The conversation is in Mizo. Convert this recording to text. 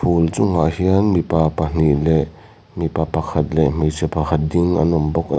phul chungah hian mipa pahnih leh mipa pakhat leh hmeichhe pakhat ding an awm bawk --